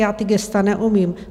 Já ta gesta neumím.